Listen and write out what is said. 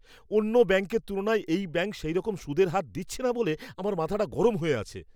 অন্য ব্যাংকের তুলনায় এই ব্যাংক সেইরকম সুদের হার দিচ্ছে না বলে আমার মাথাটা গরম হয়ে আছে।